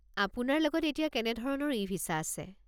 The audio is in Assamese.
আপোনাৰ লগত এতিয়া কেনে ধৰণৰ ই-ভিছা আছে?